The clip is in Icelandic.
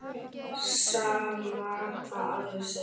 Sama hvað aðrir segja.